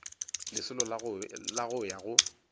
lesolo la go ya go